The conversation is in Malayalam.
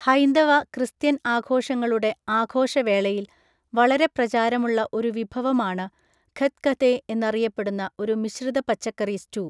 ഹൈന്ദവ, ക്രിസ്ത്യൻ ആഘോഷങ്ങളുടെ ആഘോഷവേളയിൽ വളരെ പ്രചാരമുള്ള ഒരു വിഭവമാണ് ഖത്ഖതെ എന്നറിയപ്പെടുന്ന ഒരു മിശ്രിത പച്ചക്കറി സ്റ്റൂ.